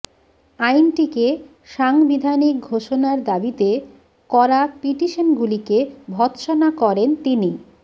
আইনটিকে সাংবিধানিক ঘোষণার দাবিতে করা পিটিশনগুলিকে ভর্তসনা করেন তিনি